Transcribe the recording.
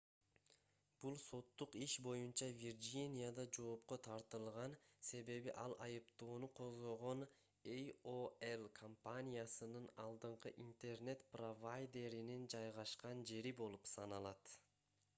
бул соттук иш боюнча вирджинияда жоопко тартылган себеби ал айыптоону козгогон aol компаниясынын алдыңкы интернет провайдеринин жайгашкан жери болуп саналат